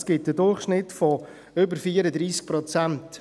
Das ergibt einen Durchschnitt von über 34 Prozent.